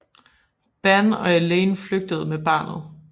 Ban og Elaine flygtede med barnet